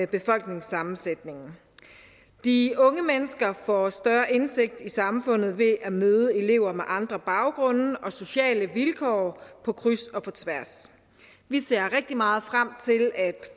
befolkningssammensætningen de unge mennesker får større indsigt i samfundet ved at møde elever med andre baggrunde og sociale vilkår på kryds og på tværs vi ser rigtig meget frem til at